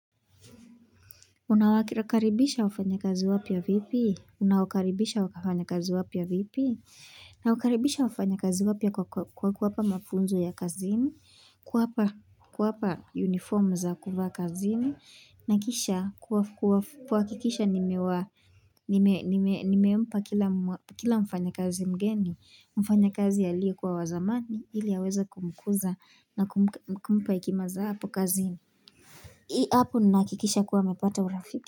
Unawakirakaribisha wafanya kazi wapya vipi? Nawakaribisha wafanya kazi wapya vipi? Nawakaribisha wafanya kazi wapya kwa kuwapa mafunzo ya kazini kuwapa uniform za kuvaa kazini na kisha kuhakikisha nimewa Nimeempa kila mfanyikazi mgeni mfanyakazi aliye kuwa wazamani ili aweze kumkuza na kumpa hekima za hapo kazini iIi hapo nahakikisha kuwa amepata urafiki.